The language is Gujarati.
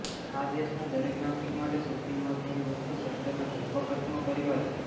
આ દેશના દરેક નાગરિક માટે સૌથી મહત્વની વસ્તુ શબ્દના વ્યાપક અર્થમાં પરિવાર છે